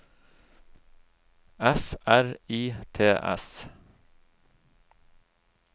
F R I T S